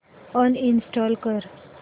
uninstall कर